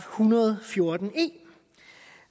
hundrede og fjorten e